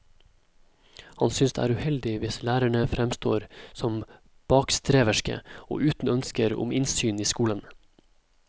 Han synes det er uheldig hvis lærerne fremstår som bakstreverske og uten ønsker om innsyn i skolen.